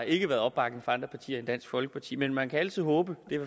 ikke været opbakning fra andre partier end dansk folkeparti men man kan altid håbe det er